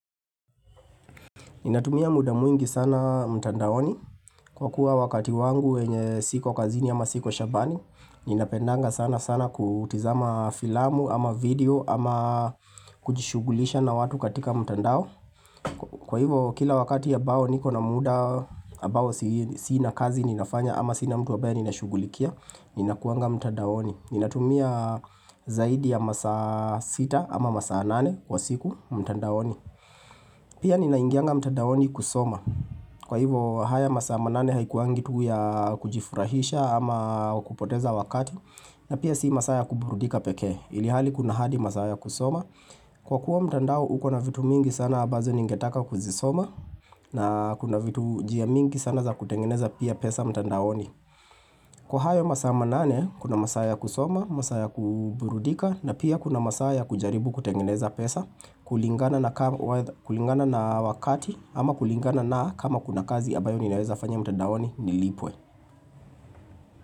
Ninatumia muda mwingi sana mtandaoni kwa kuwa wakati wangu wenye siko kazini ama siko shambani Ninapendanga sana sana kutazama filamu ama video ama kujishughulisha na watu katika mtandao Kwa hivyo kila wakati ambao niko na muda ambao sina kazi ninafanya ama sina mtu ambaye ninashugulikia, ninakuwanga mtandaoni, ninatumia zaidi ya masaa 6 ama masaa 8 kwa siku mtandaoni Pia ninaingianga mtandaoni kusoma, kwa hivyo haya masaa manane haikuangi tu ya kujifurahisha ama kupoteza wakati na pia si masaa ya kuburudika pekee, ilhali kuna hadi masaa ya kusoma, kwa kuwa mtandao uko na vitu mingi sana ambazo ningetaka kuzisoma na kuna vitu njia mingi sana za kutengeneza pia pesa mtandaoni, kwa hayo masaa manane kuna masaa ya kusoma, masaa ya kuburudika na pia kuna masaa ya kujaribu kutengeneza pesa, kulingana na kulingana na wakati ama kulingana na kama kuna kazi ambayo ninaweza fanya mtandaoni nilipwe.